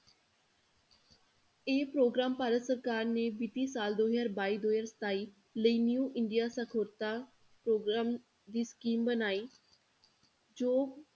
ਇਹ ਪ੍ਰੋਗਰਾਮ ਭਾਰਤ ਸਰਕਾਰ ਨੇ ਵਿੱਤੀ ਸਾਲ ਦੋ ਹਜ਼ਾਰ ਬਾਈ ਦੋ ਹਜ਼ਾਰ ਸਤਾਈ ਲਈ new ਇੰਡੀਆ ਸਾਖ਼ਰਤਾ ਪ੍ਰੋਗਰਾਮ ਦੀ scheme ਬਣਾਈ ਜੋ